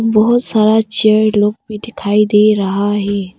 बहुत सारा चेयर लोग भी दिखाई दे रहा है।